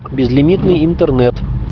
безлимитный интернет